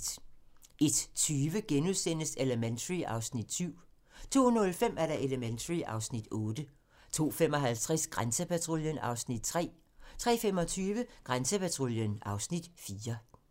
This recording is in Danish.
01:20: Elementary (Afs. 7)* 02:05: Elementary (Afs. 8) 02:55: Grænsepatruljen (Afs. 3) 03:25: Grænsepatruljen (Afs. 4)